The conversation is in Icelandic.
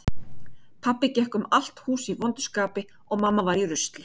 Pabbi gekk um allt hús í vondu skapi og mamma var í rusli.